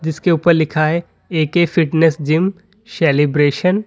इसके ऊपर लिखा है A K fitness gym celebration.